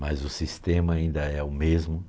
Mas o sistema ainda é o mesmo